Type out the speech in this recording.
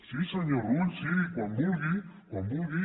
sí senyor rull sí quan vulgui quan vulgui